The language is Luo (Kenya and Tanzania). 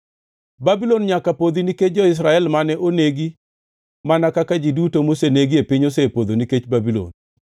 “Babulon nyaka podhi nikech jo-Israel mane onegi, mana kaka ji duto, mosenegi e piny osepodho nikech Babulon.